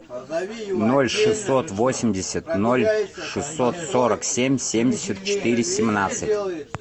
ноль шестьсот восемьдесят ноль шестьсот сорок семь семьдесят четыре семнадцать